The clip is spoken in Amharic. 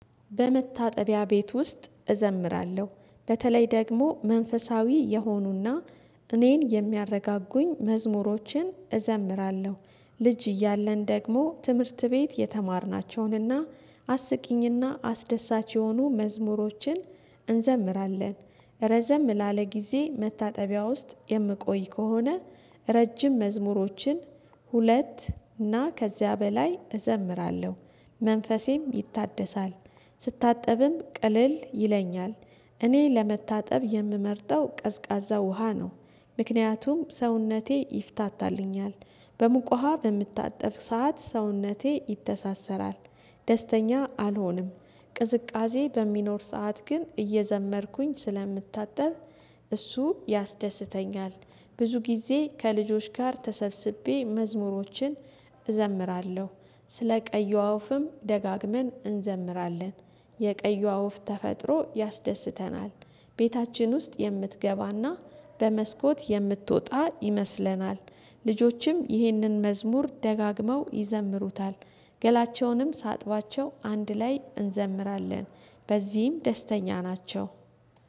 በመታጠቢያ ቤት ውስጥ እዘምራለሁ። በተለይ ደግሞ መንፈሳዊ የሆኑና እኔን የሚያረጋጉኝ መዝሙሮችን እዘምራለሁ። ልጅ እያለን ደግሞ ትምህርት ቤት የተማርናቸውንና አስቂኝና አስደሳች የሆኑ መዝሙሮችን እንዘምራለን። ረዘም ላለ ጊዜ መታጠቢያ ውስጥ የምቆይ ከሆነ ረጅም መዝሙሮችን ሁለት እና ከዚያ በላይ እዘምራለሁ። መንፈሴም ይታደሳል። ስታጠብም ቅልል ይለኛል። እኔ ለመታጠብ የምመርጠው ቀዝቃዛ ውሃ ነው። ምክንያቱም ሰውነቴ ይፍታታልኛል በሙቅ ውሃ በምታጠብ ሰዓት ሰውነቴ ይተሳሰራል። ደስተኛ አልሆንም። ቅዝቃዜ በሚኖር ሰዓት ግን እየዘመርኩኝ ስለምታጠብ እሱ ያስደስተኛል። ብዙ ጊዜ ከልጆች ጋር ተሰብስቤ መዝሙሮችን እዘምራለሁ። ስለ ቀይዋ ወፍም ደጋግመን እንዘምራለን። የቀይዋ ወፍ ተፈጥሮ ያስደስተናል። ቤታችን ውስጥ የምትገባና በመስኮት የምትወጣ ይመስለናል። ልጆችም ይህንን መዝሙር ደጋግመው ይዘምሩታል። ገላቸውንም ሳጥባቸው አንድ ላይ እንዘምራለን። በዚህም ደስተኛ ናቸው።